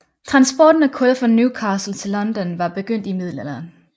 Transporten af kul fra Newcastle til London var begyndt i Middelalderen